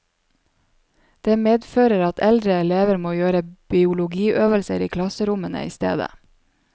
Det medfører at eldre elever må gjøre biologiøvelser i klasserommene i stedet.